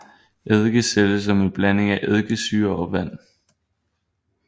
Eddike sælges som en blanding af eddikesyre og vand